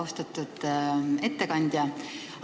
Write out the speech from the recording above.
Austatud ettekandja!